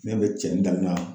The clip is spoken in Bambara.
Ni ya mɛn cɛnin da n na.